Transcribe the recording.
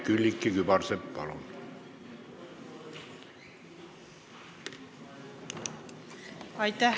Külliki Kübarsepp, palun!